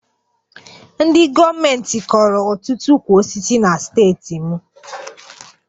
Ndị gọọmentị kọrọ ọtụtụ ukwu osisi na steeti m